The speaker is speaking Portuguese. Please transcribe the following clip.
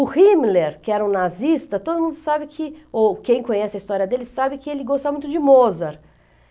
O Himmler, que era um nazista, todo mundo sabe que, ou quem conhece a história dele sabe que ele gostava muito de Mozart.